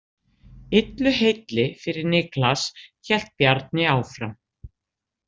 Illu heilli fyrir Niklas, hélt Bjarni áfram.